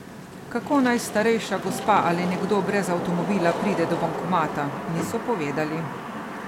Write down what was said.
Kako naj starejša gospa ali nekdo brez avtomobila pride do bankomata, niso povedali.